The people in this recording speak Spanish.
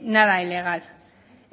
nada ilegal